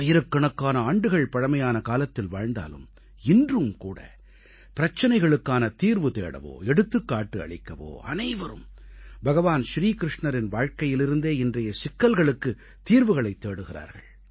ஆயிரக்கணக்கான ஆண்டுகள் பழமையான காலத்தில் வாழ்ந்தாலும் இன்றும் கூட பிரச்சனைகளுக்கான தீர்வு தேடவோ எடுத்துக்காட்டு அளிக்கவோ அனைவரும் பகவான் ஸ்ரீ க்ருஷ்ணனின் வாழ்க்கையிலிருந்தே இன்றைய சிக்கல்களுக்குத் தீர்வுகளைத் தேடுகிறார்கள்